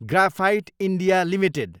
graphite India Ltd